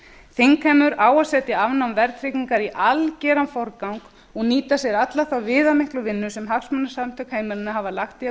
þingheimur á að setja afnám verðtryggingar í algeran forgang og nýta sér alla þá viðamiklu vinnu sem hagsmunasamtök heimilanna hafa lagt í að